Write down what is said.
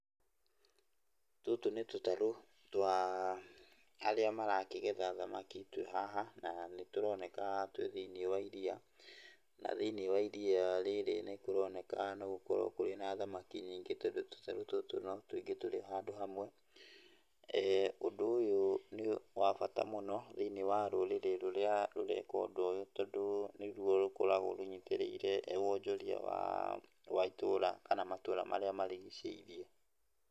Tũtũ nĩ tũtarũ twa arĩa marakĩgetha thamaki twĩ haha, na nĩ tũroneka twĩ thĩiniĩ wa iria na thĩiniĩ wa iria rĩrĩ nĩ kũroneka no gũkorwo kũrĩ na thamaki nyingĩ, tondũ tũtarũ tũtũ nĩ tũingĩ tũrĩ o handũ hamwe. Ũndũ ũyũ nĩ wabata mũno thĩiniĩ wa rũrĩrĩ rũrĩa rũreka ũndũ ũyũ, tondũ nĩrwo rũkoragwo rũnyitĩrĩire wonjoria wa itũra kana matũra marĩa marigicĩirie.